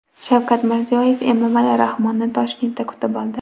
Shavkat Mirziyoyev Emomali Rahmonni Toshkentda kutib oldi .